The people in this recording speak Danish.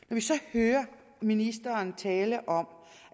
hører ministeren tale om